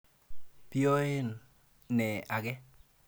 Poiyen naa ake.